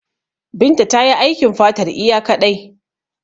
Binta tayi aikin fatar iya kaɗai.